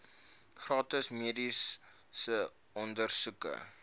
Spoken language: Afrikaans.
gratis mediese ondersoeke